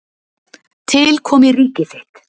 Til komi ríki þitt.